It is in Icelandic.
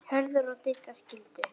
Hörður og Didda skildu.